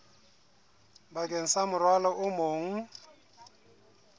bakeng sa morwalo o mong